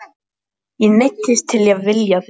Ég neyddist til að vilja þig.